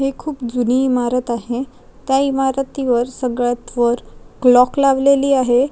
ही खूप जुनी इमारत आहे त्या इमारतीवर सगळ्यातवर क्लॉक लावलेली आहे.